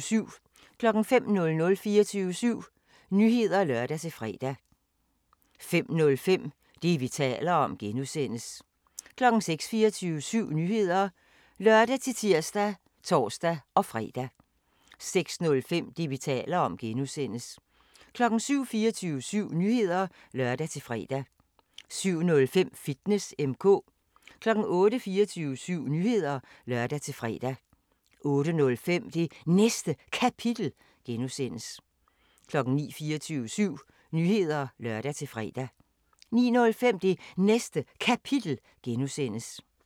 05:00: 24syv Nyheder (lør-fre) 05:05: Det, vi taler om (G) 06:00: 24syv Nyheder (lør-tir og tor-fre) 06:05: Det, vi taler om (G) 07:00: 24syv Nyheder (lør-fre) 07:05: Fitness M/K 08:00: 24syv Nyheder (lør-fre) 08:05: Det Næste Kapitel (G) 09:00: 24syv Nyheder (lør-fre) 09:05: Det Næste Kapitel (G)